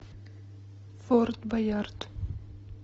форт боярд